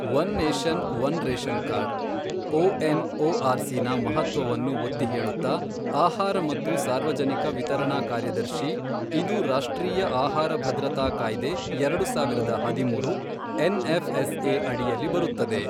One nation one ration card, ಒಎನ್ಒಆರ್ಸಿನ ಮಹತ್ವವನ್ನು ಒತ್ತಿಹೇಳುತ್ತಾ, ಆಹಾರ ಮತ್ತು ಸಾರ್ವಜನಿಕ ವಿತರಣಾ ಕಾರ್ಯದರ್ಶಿ, ಇದು ರಾಷ್ಟ್ರೀಯ ಆಹಾರಭದ್ರತಾ ಕಾಯ್ದೆ, ಎರಡು ಸಾವಿರದ ಹದಿಮೂರು, ಎನ್ಎಫ್ಎಸ್ಎ ಅಡಿಯಲ್ಲಿ ಬರುತ್ತದೆ.